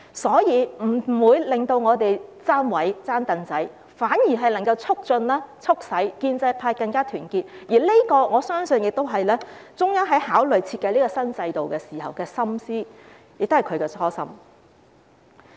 所以，這不會令建制派"爭位"，爭"櫈仔"，反而能夠促使建制派更加團結，我相信這是中央考慮和設計新制度時的心思，也是他們的初心。